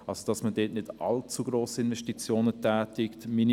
Es sollten deshalb auch nicht allzu grosse Investitionen getätigt werden.